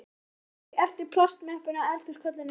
Hún teygði sig eftir plastmöppunni á eldhúskollinum.